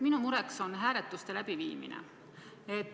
Minu mure on hääletuste läbiviimine.